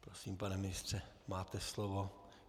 Prosím, pane ministře, máte slovo.